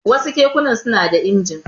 Wasu kekuna suna da injin.